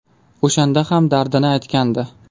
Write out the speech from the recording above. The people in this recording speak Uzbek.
O‘shanda ham dardini aytgandi.